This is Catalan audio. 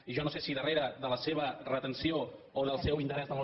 i jo no sé si darrere de la seva retenció o del seu interès en les